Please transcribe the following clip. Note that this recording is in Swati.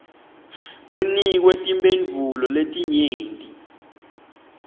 kunikwe timphendvulo letinyenti